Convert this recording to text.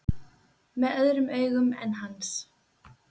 Með öðrum augum en hans.